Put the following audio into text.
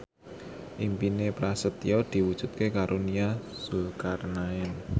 impine Prasetyo diwujudke karo Nia Zulkarnaen